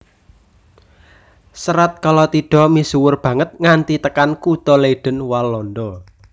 Serat Kalatidha misuwur banget nganti tekan kutha Leiden Walanda